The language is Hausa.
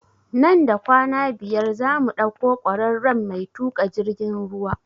Nan da kwana biyar za mu ɗauko kwararen mai tuƙa jirgin ruwa